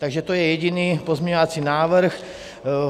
Takže to je jediný pozměňovací návrh.